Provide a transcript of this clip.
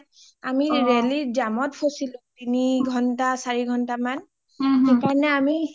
আমি ৰেলিৰ যামত ফছিলো তিনি চাৰি ঘণ্টা মান সেই কাৰণেই আমি